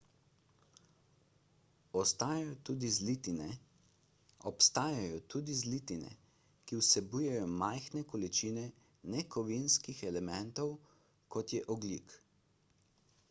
obstajajo tudi zlitine ki vsebujejo majhne količine nekovinskih elementov kot je ogljik